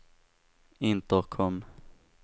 intercom